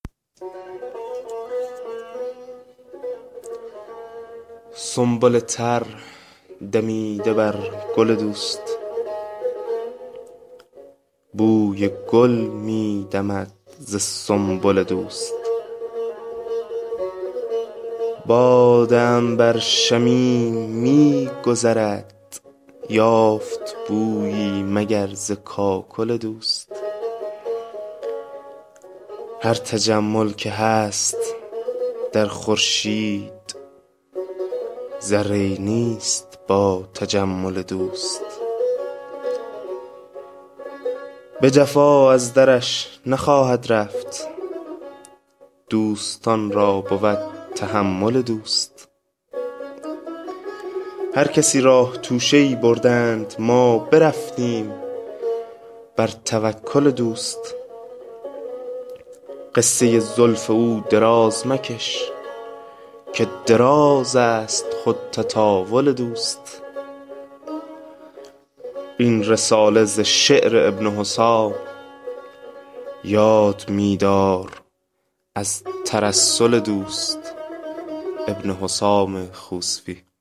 سنبل تر دمیده بر گل دوست بوی گل می دمد ز سنبل دوست باد عنبر شمیم می گذرد یافت بویی مگر ز کاکل دوست هر تجمل که هست در خورشید ذره ای نیست با تجمل دوست به جفا از درش نخواهد رفت دوستان را بود تحمل دوست هر کسی راه توشه ای بردند ما برفتیم بر توکل دوست قصه زلف او دراز مکش که درازست خود تطاول دوست این رساله ز شعر ابن حسام یاد می دار از ترسل دوست